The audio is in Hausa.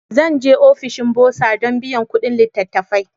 Zan je ofishin Burser don biyan kuɗin littattafai.